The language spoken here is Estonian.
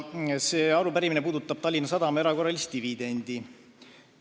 See arupärimine puudutab Tallinna Sadama erakorralist dividendi.